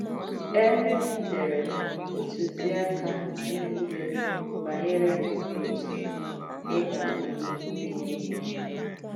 E “dèrē” ǹtùzìàkà niile banyere òtụ ị̀ ga-àdị̀ n’ìmẹ̀ DNA gị.